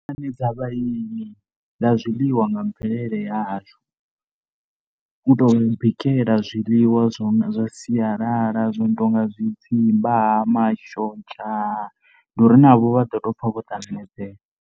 U ṱanganedza vhaeni nga zwiḽiwa nga mvelele ya hashu. U tou vha bikela zwiḽiwa zwa sialala zwo no tou nga zwidzimba mashonzha ndi uri navho vha ḓo tou pfha vho ṱanganedzea.